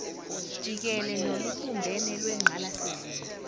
jikele nolubumbene lwengqalasizinda